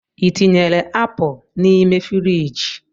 I tinyere apụ nime firigi?